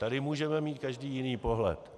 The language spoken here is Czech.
Tady můžeme mít každý jiný pohled.